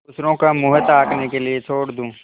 दूसरों का मुँह ताकने के लिए छोड़ जाऊँ